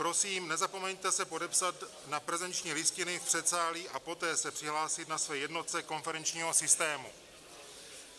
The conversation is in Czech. Prosím, nezapomeňte se podepsat na prezenční listiny v předsálí a poté se přihlásit na své jednotce konferenčního systému.